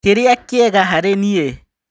Kĩria kĩega harĩniĩ ?